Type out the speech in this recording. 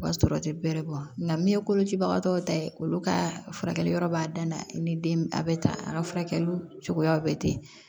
O b'a sɔrɔ o tɛ bɛrɛ bɔ nka min ye kolocibagatɔw ta ye olu ka furakɛli yɔrɔ b'a dan na ni den a bɛ tan a ka furakɛli cogoya bɛ ten